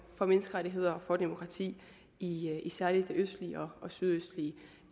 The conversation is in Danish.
for menneskerettigheder og demokrati i i særlig det østlige og sydøstlige